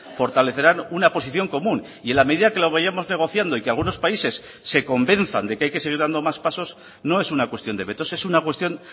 fortalecerán una posición común y en la medida que lo vayamos negociando y que algunos países se convenzan de que hay que seguir dando más pasos no es una cuestión de vetos es una cuestión